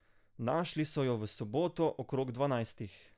Našli so jo v soboto okrog dvanajstih.